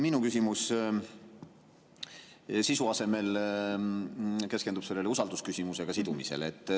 Minu küsimus keskendub sisu asemel usaldusküsimusega sidumisele.